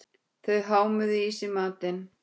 Þau hámuðu í sig matinn.